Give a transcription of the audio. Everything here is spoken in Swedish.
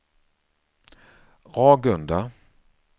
Ragunda